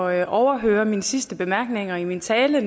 at overhøre mine sidste bemærkninger i min tale